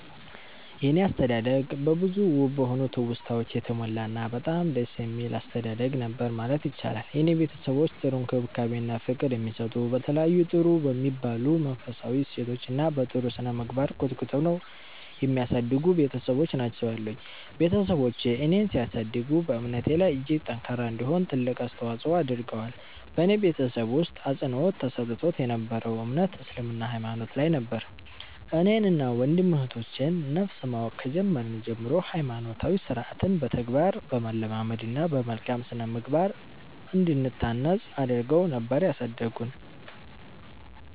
የኔ አስተዳደግ በብዙ ውብ በሆኑ ትውስታወች የተሞላ እና በጣም ደስ የሚል አስተዳደግ ነበር ማለት ይቻላል። የኔ ቤተሰቦች ጥሩ እንክብካቤ እና ፍቅር የሚሰጡ፤ በተለያዩ ጥሩ በሚባሉ መንፈሳዊ እሴቶች እና በ ጥሩ ስነምግባር ኮትኩተው የሚያሳድጉ ቤትሰቦች ናቸው ያሉኝ። ቤትሰቦቼ እኔን ሲያሳድጉ በእምነቴ ላይ እጅግ ጠንካራ እንድሆን ትልቅ አስተዋፆ አድርገዋል። በኔ ቤተሰብ ውስጥ አፅንዖት ተሰጥቶት የ ነበረው እምነት እስልምና ሃይማኖት ላይ ነበር። እኔን እና ወንድም እህቶቼ ን ነፍስ ማወቅ ከጀመርን ጀምሮ ሃይማኖታዊ ስርዓትን በተግባር በማለማመድ እና በመልካም ስነምግባር እንድንታነፅ አድረገው ነበር ያሳደጉን።